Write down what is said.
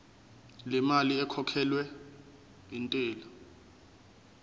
lemali ekhokhelwa intela